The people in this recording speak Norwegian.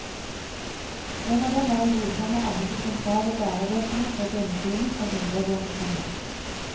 En av dem er å godkjenne alle de sentrale lærebøkene for grunnskolen og videregående skole.